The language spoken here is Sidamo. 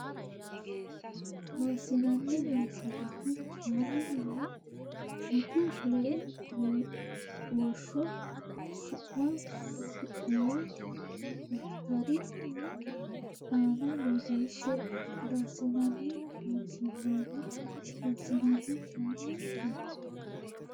Loossinanni Loossinanni kayinni lee gutu lee woshsho su ma su muwa daftari ne aana borreesse Loossinanni Loossinanni Loossinanni kayinni lee.